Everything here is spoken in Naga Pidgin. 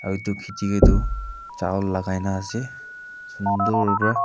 aru etu khiti ke tu chawal lagai na ase sundur para.